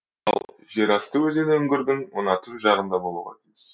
ал жер асты өзені үңгірдің мына түп жағында болуға тиіс